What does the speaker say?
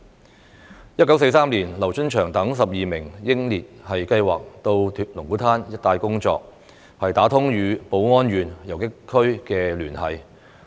在1943年，劉春祥等12名英烈計劃到龍鼓灘一帶工作，打通與寶安縣游擊區的聯繫。